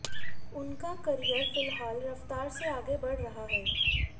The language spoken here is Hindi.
उनका करियर फिलहाल रफ्तार से आगे बढ़ रहा है